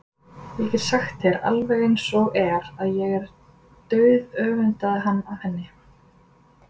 Ég get sagt þér alveg eins og er að ég dauðöfundaði hann af henni.